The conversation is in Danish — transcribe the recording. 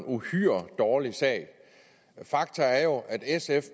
uhyre dårlig sag fakta er jo at sf